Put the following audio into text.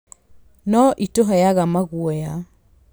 No ĩtũheaga maguoya.